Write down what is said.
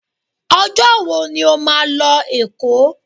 Ọjọ́ wo ni o máa lọ Èkó?